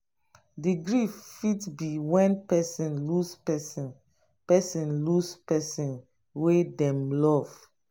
the grief fit be when person lose person person lose person wey dem love